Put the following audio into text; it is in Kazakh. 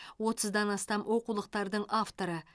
отыздан астам оқулықтардың авторы